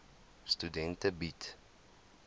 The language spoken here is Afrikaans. studente bied